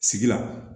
Sigi la